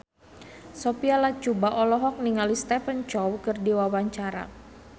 Sophia Latjuba olohok ningali Stephen Chow keur diwawancara